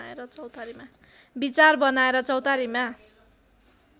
विचार बनाएर चौतारीमा